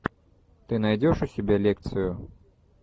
ты найдешь у себя лекцию